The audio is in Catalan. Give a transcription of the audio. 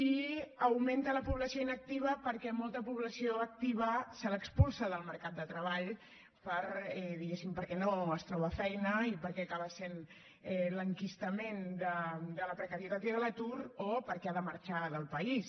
i augmenta la població inactiva perquè a molta població activa se l’expulsa del mercat de treball perquè no es troba feina i perquè acaba sent l’enquistament de la precarietat i de l’atur o perquè ha de marxar del país